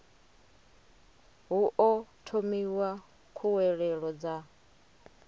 hu o thomiwa khuwelelo dza